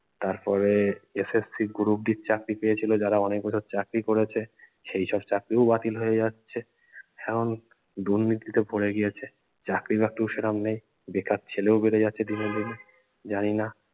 তারপরে SSC group d চাকরি পেয়েছিলো যারা অনেক বছর চাকরি করেছে সেই সব চাকরি ও বাতিল হয়ে যাচ্ছে। এখন দুর্নীতিতে ভরে গিয়েছে চাকরি বাকরি ও সেরম নেই বেকার ছেলে ও বেড়ে দিনে দিনে জানিনা